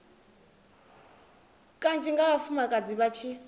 kanzhi nga vhafumakadzi vha tshi